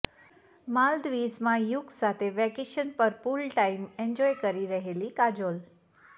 માલદીવ્ઝમાં યુગ સાથે વેકેશન પર pool time enjoy કરી રહેલી કાજોલ